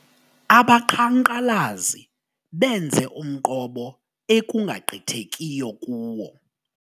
Abaqhankqalazi benze umqobo ekungagqithekiyo kuwo.